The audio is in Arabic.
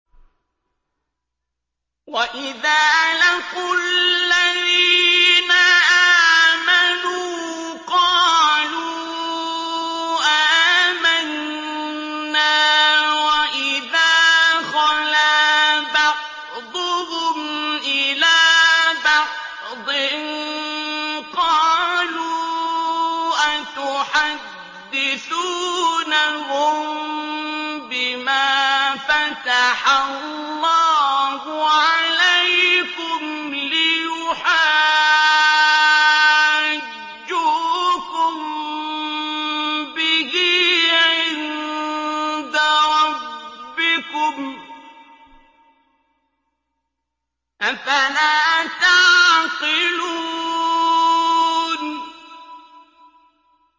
وَإِذَا لَقُوا الَّذِينَ آمَنُوا قَالُوا آمَنَّا وَإِذَا خَلَا بَعْضُهُمْ إِلَىٰ بَعْضٍ قَالُوا أَتُحَدِّثُونَهُم بِمَا فَتَحَ اللَّهُ عَلَيْكُمْ لِيُحَاجُّوكُم بِهِ عِندَ رَبِّكُمْ ۚ أَفَلَا تَعْقِلُونَ